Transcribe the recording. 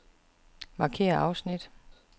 Markér afsnit.